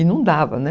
E não dava, né?